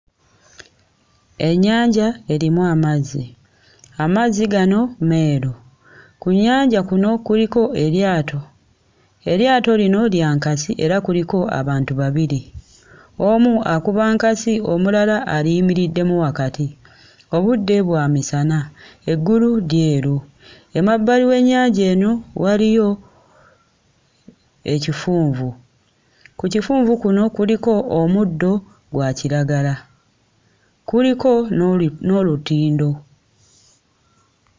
Ennyanja erimu amazzi, amazzi gano meeru. Ku nnyanja kuno kuliko eryato, eryato lino lya nkasi era kuliko abantu babiri. Omu akuba nkasi, omulala aliyimiriddemu wakati. Obudde bwa misana, eggulu lyeru. Emabbali w'ennyanja eno waliyo ekifunvu, ku kifunvu kuno kuliko omuddo gwa kiragala, kuliko n'olutindo.